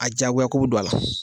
A diyagoyakow bɛ don a la.